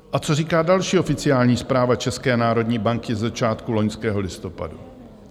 A co říká další oficiální zpráva České národní banky ze začátku loňského listopadu?